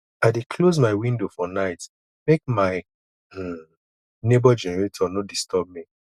i dey close my window for night make my um nebor generator no disturb me